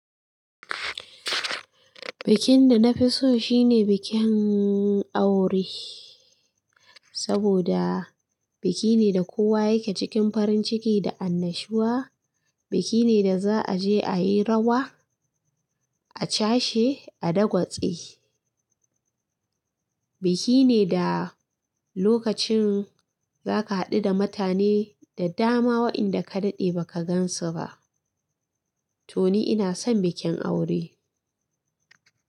Bikin da na fiso shine bikin aure saboda biki me da kowa yake cikin farin ciki da annashuwa. Biki ne da za a je a yi rawa, a ca shi a dagwace biki ne da lokacin za ka haɗu da mutane da dama waɗanda ka daɗe ba ka gansu ba. To ni ina son bikin aure.